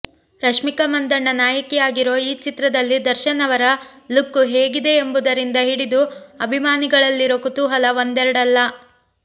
ರಶ್ಮಿಕಾ ಮಂದಣ್ಣ ನಾಯಕಿಯಾಗಿರೋ ಈ ಚಿತ್ರದಲ್ಲಿ ದರ್ಶನ್ ಅವರ ಲುಕ್ಕು ಹೇಗಿದೆ ಎಂಬುದರಿಂದ ಹಿಡಿದು ಅಭಿಮಾನಿಗಳಲ್ಲಿರೋ ಕುತೂಹಲ ಒಂದೆರಡಲ್ಲ